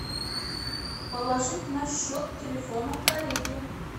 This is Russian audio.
положить на счет телефона коллеге